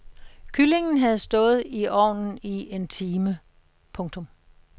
Kyllingen havde stået i ovnen i en time. punktum